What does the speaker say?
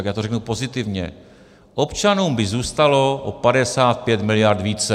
Tak já to řeknu pozitivně: občanům by zůstalo o 55 mld. více.